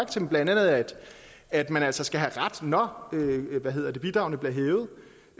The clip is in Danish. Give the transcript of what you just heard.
til blandt andet at man altså skal have ret når bidragene bliver